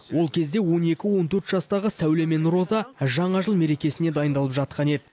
ол кезде он екі он төрт жастағы сәуле мен роза жаңа жыл мерекесіне дайындалып жатқан еді